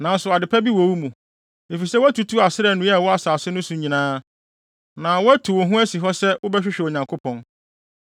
Nanso ade pa bi wɔ wo mu, efisɛ woatutu Asera nnua a ɛwɔ asase no so nyinaa, na woatu wo ho asi hɔ sɛ wobɛhwehwɛ Onyankopɔn.”